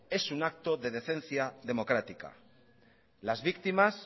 es un acto de decencia democrática las víctimas